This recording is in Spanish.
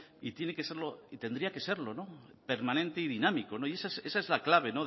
y tiene que serlo y tendría que serlo permanente y dinámico esa es la clave